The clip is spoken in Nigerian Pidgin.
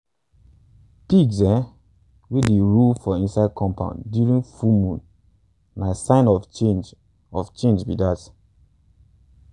pigs um wey dey um roll for inside compound during full moon na sign of change of change be dat.